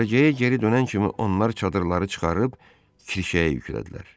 Düşərgəyə geri dönən kimi onlar çadırları çıxarıb kirşəyə yüklədilər.